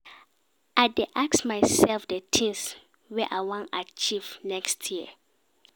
I dey ask mysef di tins wey I wan achieve next year.